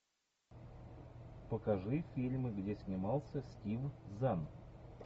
покажи фильмы где снимался стив зан